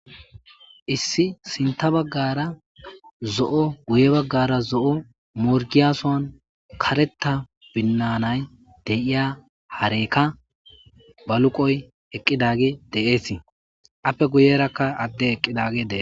Issi sinta baggara zo7o guye baggara zo7o morgiyasoan kareta binnanay deiya hareykka baluqoy eqqidagi deeesii appe guyerakka adde eqqidagi dee